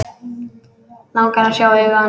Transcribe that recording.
Langar að sjá augu hans.